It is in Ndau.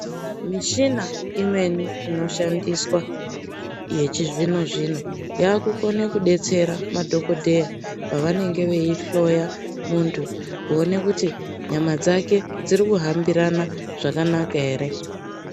Michina imweni inoshandiswa yechizvino zvino yavakukona kudetsera madhokodheya pavanenge veihloya muntu kuona kuti nyama dzake dziri kuhambirana zvakanaka here.